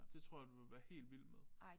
Det tror jeg du ville være helt vild med